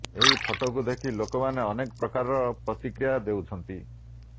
ଏହି ଫଟୋକୁ ଦେଖି ଲୋକମାନେ ଅନେକ ପ୍ରକାରର ପ୍ରତିକ୍ରିୟା ଦେଉଛନ୍ତି